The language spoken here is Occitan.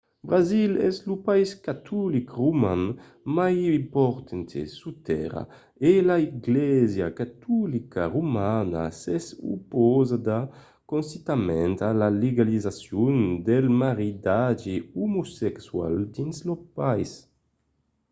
brasil es lo país catolic roman mai important sus tèrra e la glèisa catolica romana s’es opausada consistentament a la legalizacion del maridatge omosexual dins lo país